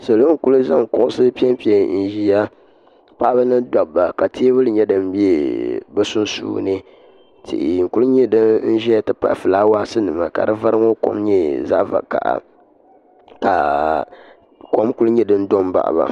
Salo n-kuli zaŋ kuɣusi pempe n-ʒiya paɣiba ni dabba ka teebuli nyɛ din be bɛ sunsuuni tihi n-kuli nyɛ din ʒeya nti pahi fulaawaasinima ka di vari ŋɔ kom nyɛ zaɣ'vakaha ka kom kuli nyɛ din do m-baɣi ba.